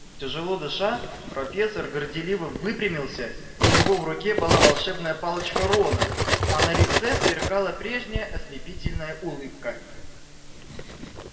тяжело дыша профессор горделиво выпрямился у него в руке была волшебная палочка рона а на лице сверкала прежняя ослепительная улыбка